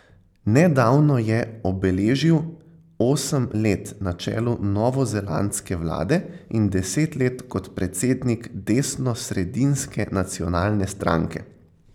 Nedavno je obeležil osem let na čelu novozelandske vlade in deset let kot predsednik desnosredinske Nacionalne stranke.